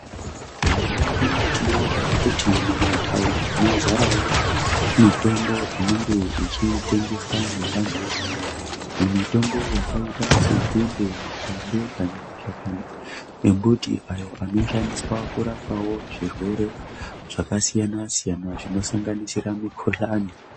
Mazuwano tinoonawo kuti mumataundi mazarawo mitombo inenge ichitengeswa ngevantu. Mitombo yakaita senzinde, mapande kana mashakani embuti ayo anoshandiswawo kurapawo zvirwere zvakasiyana siyana zvinosanganisira mikuhlane.